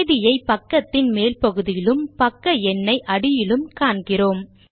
தேதியை பக்கத்தின் மேல் பகுதியிலும் பக்க எண்ணை அடியிலும் காண்கிறோம்